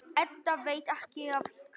Edda veit ekki af hverju.